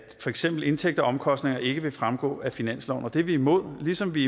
eksempel indtægter og omkostninger ikke vil fremgå af finansloven det er vi imod ligesom vi